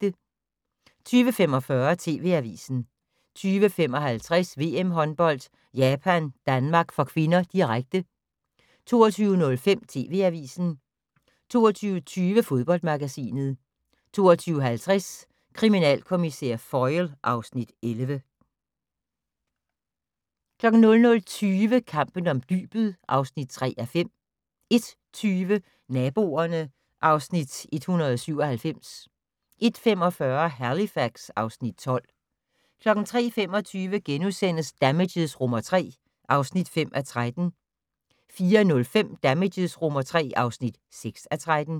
20:45: TV Avisen 20:55: VM-håndbold: Japan-Danmark (k), direkte 22:05: TV Avisen 22:20: Fodboldmagasinet 22:50: Kriminalkommissær Foyle (Afs. 11) 00:20: Kampen om dybet (3:5) 01:20: Naboerne (Afs. 197) 01:45: Halifax (Afs. 12) 03:25: Damages III (5:13)* 04:05: Damages III (6:13)